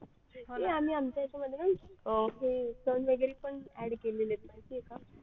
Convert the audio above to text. ये आम्ही आमच्या याच्या मध्ये ना ते सण वगैरे पण add केलेलेत माहिती आहे का